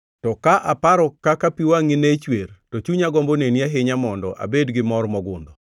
To ka aparo kaka pi wangʼi ne chwer to chunya gombo neni ahinya mondo abed gi mor mogundho.